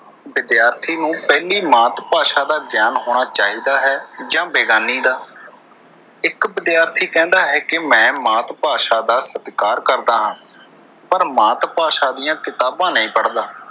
ਵਿਦਿਆਰਥੀ ਨੂੰ ਪਹਿਲੀ ਮਾਤ ਭਾਸ਼ਾ ਦਾ ਗਿਆਨ ਹੋਣਾ ਚਾਹੀਦਾ ਜਾਂ ਬੇਗਾਨੀ ਦਾ ਇੱਕ ਵਿਦਿਆਰਥੀ ਕਹਿੰਦਾ ਹੈ ਕਿ ਮੈਂ ਮਾਤ ਭਾਸ਼ਾ ਦਾ ਸਤਿਕਾਰ ਕਰਦਾ ਹਾਂ। ਪਰ ਮਾਤ ਭਾਸ਼ਾ ਦੀਆਂ ਕਿਤਾਬਾਂ ਨਈਂ ਪੜ੍ਹਦਾ।